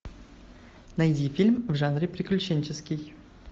найди фильм в жанре приключенческий